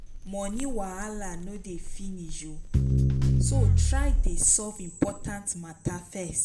moni wahala no dey finish so try dey solve important mata first